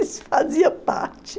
Isso fazia parte.